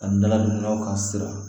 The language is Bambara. Ani daladugunaw ka sira